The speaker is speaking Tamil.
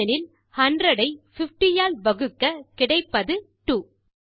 ஏனெனில் 100 ஐ50 ஆல் வகுக்க கிடைப்பது 2